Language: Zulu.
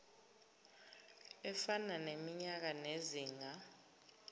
efana neminyaka nezinga